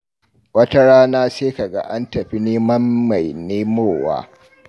Wata rana sai ka ga an tafi neman mai nemowa.